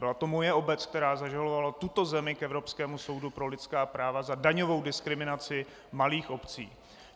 Byla to moje obec, která zažalovala tuto zemi k Evropskému soudu pro lidská práva za daňovou diskriminaci malých obcí.